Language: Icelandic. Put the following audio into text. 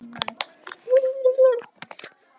Brimdís, spilaðu tónlist.